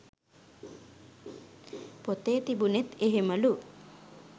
පොතේ තිබුනෙත් එහෙමලු.